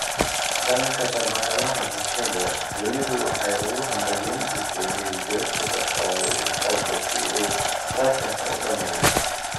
Dhanka shabakadaha bulshada, dunidu waxay ugu hambalyeyn jirtay ilbiriqsi kasta oo uu u ordo si uu tartanka u dhammeeyo.